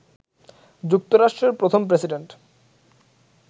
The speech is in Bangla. যুক্তরাষ্ট্রের প্রথম প্রেসিডেন্ট